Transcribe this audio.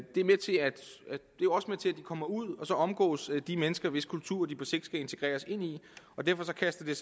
også med til at de kommer ud og omgås de mennesker hvis kultur de på sigt skal integreres ind i og derfor kaster det